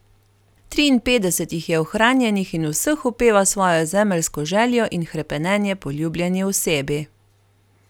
Triinpetdeset jih je ohranjenih in v vseh opeva svojo zemeljsko željo in hrepenenje po ljubljeni osebi.